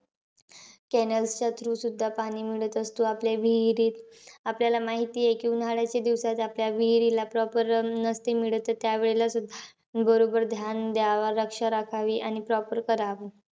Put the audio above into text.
Cannels च्या through सुद्धा पाणी मिळत असतो आपल्या विहिरीत. आपल्याला माहिती आहे की, उन्हाळ्याच्या दिवसात आपल्या विहिरीला proper नसते मिळत. त त्या वेळेला सुद्धा बरोबर ध्यान द्यावं, रक्षा राखावी, आणि proper करावं.